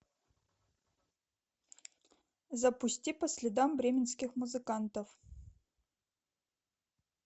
запусти по следам бременских музыкантов